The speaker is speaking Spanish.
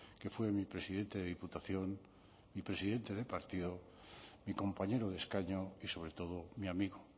que fue mi presidente de diputación mi presidente de partido mi compañero de escaño y sobre todo mi amigo